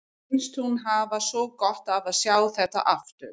Finnst hún hafa svo gott af að sjá þetta aftur.